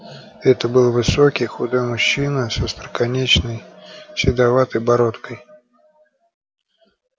это был высокий худой мужчина с остроконечной седоватой бородкой